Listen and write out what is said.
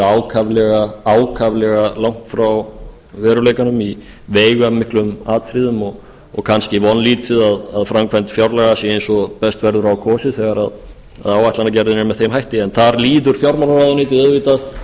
ákaflega langt frá veruleikanum í veigamiklum atriðum og kannski vonlítið að framkvæmd fjárlaga sé eins og best verður á kosið þegar áætlunargerðin er með þeim hætti en þar líður fjármálaráðuneytið auðvitað